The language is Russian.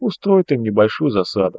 устроит им небольшую засаду